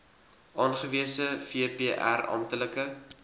aangewese vpr amptelike